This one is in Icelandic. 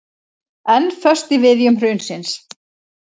Enn föst í viðjum hrunsins